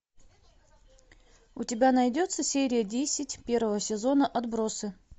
у тебя найдется серия десять первого сезона отбросы